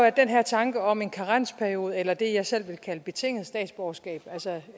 at den her tanke om en karensperiode eller det som jeg selv vil kalde et betinget statsborgerskab altså